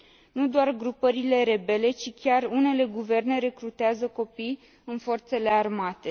Nu doar grupările rebele, ci chiar unele guverne recrutează copii în forțele armate.